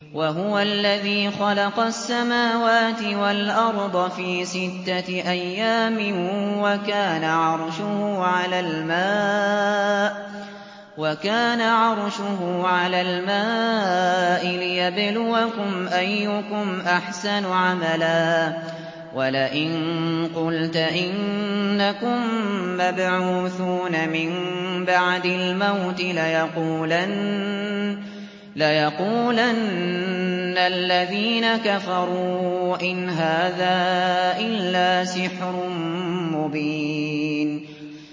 وَهُوَ الَّذِي خَلَقَ السَّمَاوَاتِ وَالْأَرْضَ فِي سِتَّةِ أَيَّامٍ وَكَانَ عَرْشُهُ عَلَى الْمَاءِ لِيَبْلُوَكُمْ أَيُّكُمْ أَحْسَنُ عَمَلًا ۗ وَلَئِن قُلْتَ إِنَّكُم مَّبْعُوثُونَ مِن بَعْدِ الْمَوْتِ لَيَقُولَنَّ الَّذِينَ كَفَرُوا إِنْ هَٰذَا إِلَّا سِحْرٌ مُّبِينٌ